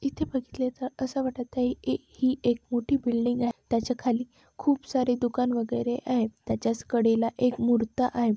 इथे बघितलं तर असे वाटत आहे की ही एक मोठी बिल्डिंग आहे त्याच्या खाली खूप सारे दुकान वगैरे आहे त्याचाच कडेला एक मुरता आहे.